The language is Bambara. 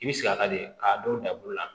I bɛ sigi a ka de k'a dɔw da bolo la